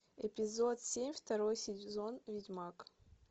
эпизод семь второй сезон ведьмак